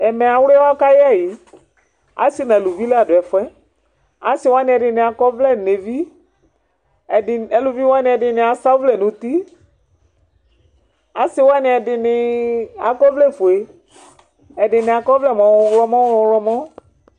Ɛmɛ, awliwa kayɛ ɛyi Asi nʋ aluvi la dʋ ɛfuɛ Asi wani ɛdi akɔ ɔvlɛ n'evi, ɛdi, aluvi wani ɛdini asa ɔvlɛ nʋ uti Asi wani ɛdini akɔ ɔvlɛ fue, ɛdini akɔ ɔvlɛ mʋ ɔwlɔmɔ mʋ ɔwlɔmɔ